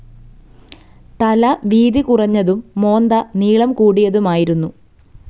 തല വീതി കുറഞ്ഞതും മോന്ത നീളം കൂടിയതുമായിരുന്നു.